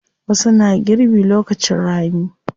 Wasu na girbi lokacin rani.